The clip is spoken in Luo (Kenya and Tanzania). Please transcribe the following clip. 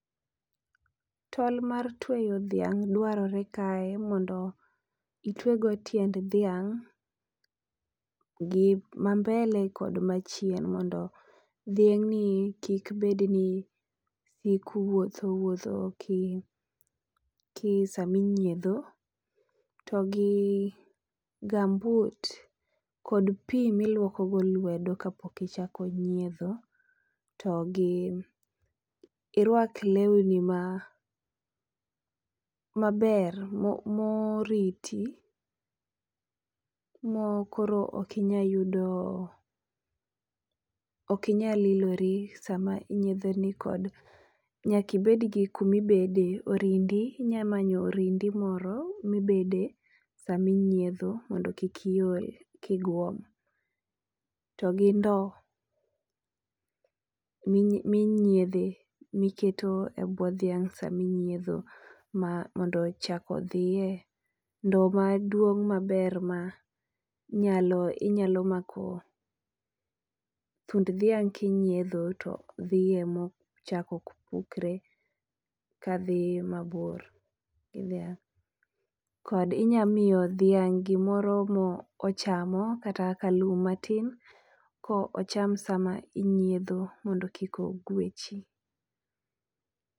tol mar tweyo dhiang dwarore kae mondo itwego tiend dhiang' gi ma mbele kod machien. Mondo dhiang' ni kik bedni sik wuotho wuotho gi sami nyiedho, to gi gum boot kod pi miluoko go lwedo kapok ichako nyiedho. To gi irwak lewni ma maber mo moriti mo koro okinya yudo okinyal lilori e sama inyietho ni kod nyakibed gi kumibede orindi. Inya manyo orindi moro mibede saminyiedho mondo kik iol kiguom, togi ndo minyiedhe miketo e bwo dhiang' saminyiedho mondo chak odhiye. Ndo maduong' maber ma nyalo inyalo mako thund dhiang' kinyiedho to dhiye ma chak ok pukre ka dhi mabor gi dhiang' Kod inya miyo dhiang' gimoro mo ochamo kata ka lum matin ko ocham sama onyiedho mondo kik ogwechi.